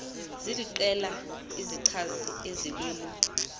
ziliqela izichazi ezilolu